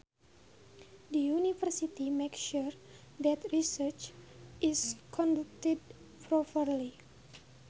The university makes sure that research is conducted properly